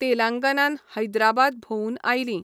तेलांगनान हैद्राबाद भोंवून आयलीं.